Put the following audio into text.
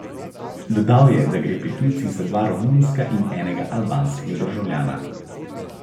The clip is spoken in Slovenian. Dodal je, da gre pri tujcih za dva romunska in enega albanskega državljana.